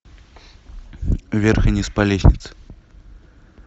вверх и вниз по лестнице